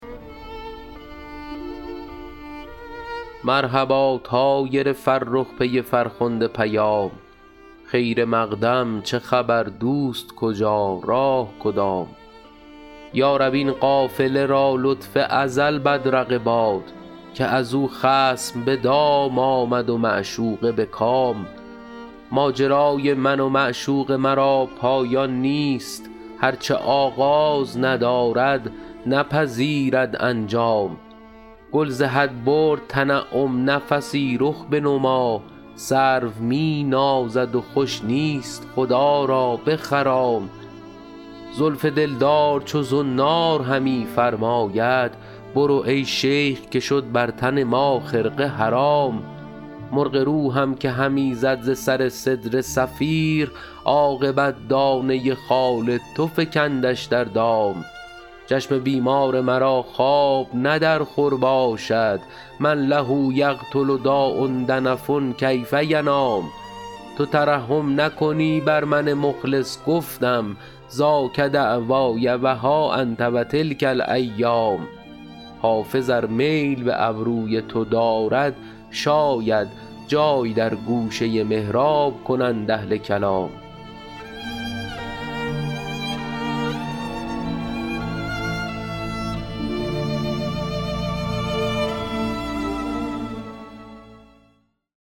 مرحبا طایر فرخ پی فرخنده پیام خیر مقدم چه خبر دوست کجا راه کدام یا رب این قافله را لطف ازل بدرقه باد که از او خصم به دام آمد و معشوقه به کام ماجرای من و معشوق مرا پایان نیست هر چه آغاز ندارد نپذیرد انجام گل ز حد برد تنعم نفسی رخ بنما سرو می نازد و خوش نیست خدا را بخرام زلف دلدار چو زنار همی فرماید برو ای شیخ که شد بر تن ما خرقه حرام مرغ روحم که همی زد ز سر سدره صفیر عاقبت دانه خال تو فکندش در دام چشم بیمار مرا خواب نه در خور باشد من له یقتل داء دنف کیف ینام تو ترحم نکنی بر من مخلص گفتم ذاک دعوای و ها انت و تلک الایام حافظ ار میل به ابروی تو دارد شاید جای در گوشه محراب کنند اهل کلام